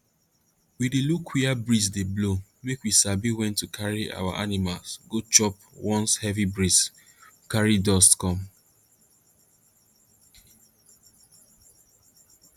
we dey look wia breeze dey blow make we sabi wen to carry our animal go chop once heavy breeze carry dust come